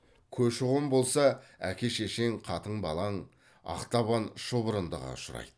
көші қон болса әке шешең қатын балаң ақтабан шұбырындыға ұшырайды